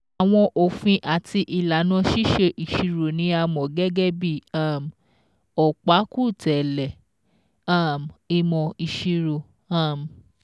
Àwọn òfin àti ìlànà ṣíṣe ìṣirò ni a mọ̀ gẹ́gẹ́ bí um ọ̀pákùtẹ̀lẹ̀ um ìmọ̀ ìṣirò. um